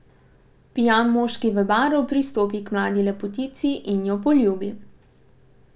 Pijan moški v baru pristopi k mladi lepotici in jo poljubi.